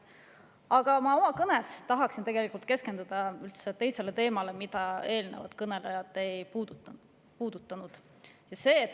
Aga oma kõnes ma tahan keskenduda hoopis teisele teemale, mida eelnevad kõnelejad ei puudutanud.